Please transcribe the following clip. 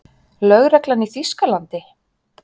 Lögreglan í Þýskalandi?